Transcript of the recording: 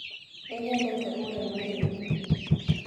Nĩnyendete ũrĩa mũirĩtu.